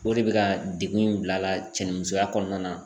O de bɛ ka degun in bila a la cɛnimusoya kɔnɔna na.